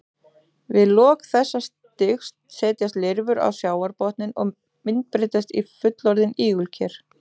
Við lok þessa stigs setjast lirfurnar á sjávarbotninn og myndbreytast í fullorðin ígulker.